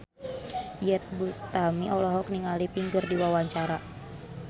Iyeth Bustami olohok ningali Pink keur diwawancara